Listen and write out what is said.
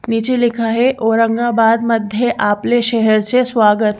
नीचे लिखा है औरंगाबाद मध्ये आपले शहर से स्वागत--